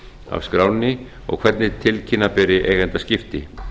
af skránni og hvernig tilkynna beri eigendaskipti